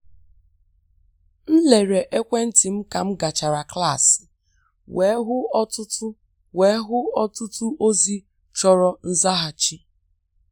M lere ekwentị m ka m gachara klaasị wee hụ ọtụtụ wee hụ ọtụtụ ozi chọrọ nzaghachi.